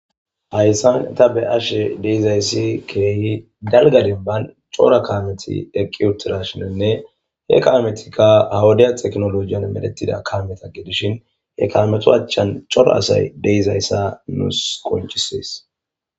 Hayissan taa be'ashshe dizayiss kehi dalgga dennibanni cora kametti eqqi uttidayissanne he kamettikka haa wodiya techinolojin medhdhettida kameta gidishshin he kameta achanni cora asayi de'izayissi nusi qonccisses.